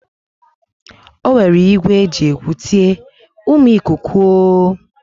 O were igwe e ji ekwu tie: Umu ikuku o!